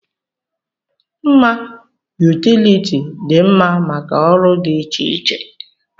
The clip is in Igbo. Mma yutility dị mma maka ọrụ dị iche iche.